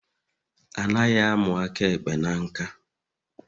Anaghị a mụ aka ekpe na nkà